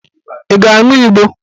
Ị ga-aṅụ Igbo?